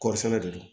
Kɔɔri sɛnɛ de don